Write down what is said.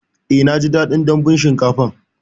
Eh naji daɗin dambun shinkafan